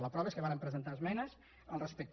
la prova és que và·rem presentar esmenes al respecte